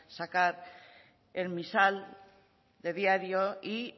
sacar el misal de diario y